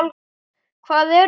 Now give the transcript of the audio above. Hvað eru þeir?